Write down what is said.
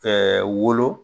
wolo